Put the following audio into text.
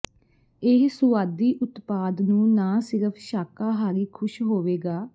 ਇਹ ਸੁਆਦੀ ਉਤਪਾਦ ਨੂੰ ਨਾ ਸਿਰਫ ਸ਼ਾਕਾਹਾਰੀ ਖ਼ੁਸ਼ ਹੋਵੇਗਾ